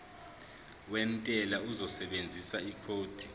wentela uzosebenzisa ikhodi